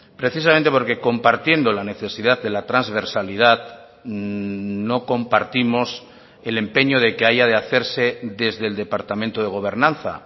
precisamente porque compartiendo la necesidad de la transversalidad no compartimos el empeño de que haya de hacerse desde el departamento de gobernanza